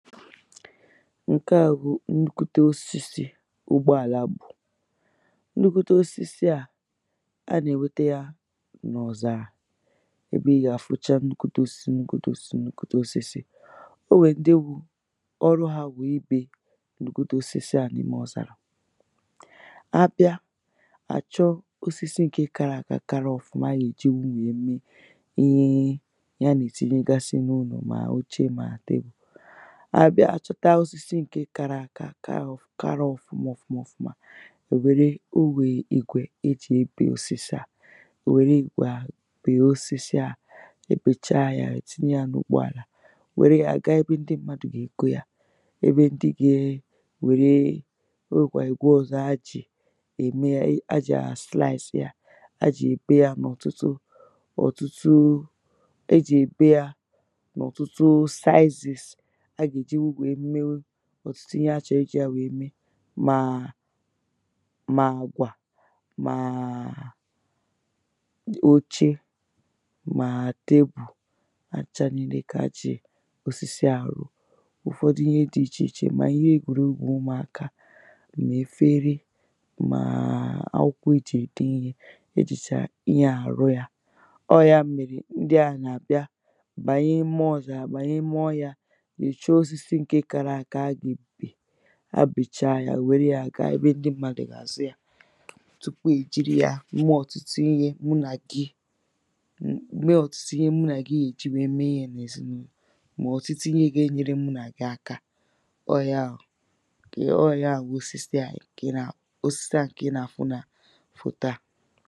ǹke à bụ̀ nnukute osisi ụgbọ àla bù nnukwute osisi à, ha nà-ènwete yā n’ọ̀zàrà ebe ị gà-afụcha nnukwute osisi nnukwute osisi nnukwute osisi o nwèrè ndị wụ̄ ọrụ hā wụ̀ ibè nnukwute osisi à n’ime ọ̀zàrà ha bịa hà chọọ osisi ǹke kara aka kara ọ̀fụma ha gà-èjili nwèe mee ihe ihe ha nà-ètinyegasị n’ụlọ̀ mà oche mà table ha bịa hà chọta osisi ǹke kara àka kara ọ̀fụma ọ̀fụma ọ̀fụma ha nwère o nwè ìgwè ejì ebè osisi à ò nwère ìgwè ahụ̀ bèe osisi ahụ̀ ha bècha yā hà ètinye yā n’ụgbọ àlà nwère yā ga ebe ndị mmadụ̄ nà-ègo yā ebe ndị gā-ēwère o nwèkwàrà ìgwe ọ̄zọ̄ ha jì ème yā ha jì àsliàsị yā ha jì èbe yā n’ọ̀tụtụ ọ̀tụtụ ejì èbe yā n’ọ̀tụtụ slices ha gà-èjinwụ nwèe mewu ọ̀tụtụ ihe ha chọ̀rọ̀ ijī yā nwèe mee mà mà àkwà mà óché mà table ha n̄chā nīìlè kà ha jì osisi ahụ̀ rụ ụ̀fọdụ ihe dị̄ ichè ichè mà ihe egwùregwū ụmụ̀akā mà efere mà akwụkwọ ha jì ède ihē ejìchà ihe à àrụ yā, ọ wụ̀ ya mèrè ndị à nà-àbịa bànye ime ọ̀zàrà bànye ime ọhịā, nyòcha osisi ǹke kārā ākā ha gà-ègbupè ha bècha yā hà nwère yā ga ebe ndị mmadụ̄ gà-àzụ yā tupu èjiri yā mee ọ̀tụtụ ihe mụ nà gị mee ọ̀tụtụ ihe mụ nà gị gà-èji nwèe mee ihē n’èzinụ̄nọ̀ mà ọ̀tụtụ ihe gā-ēnyērē mụ nà gị akā ọ wụ̀ ya wụ̀ ọ wụ̀ ya wụ̀ osisi à ǹkè ị nà osisi à ǹkè ị nà-àfụ nà fòto à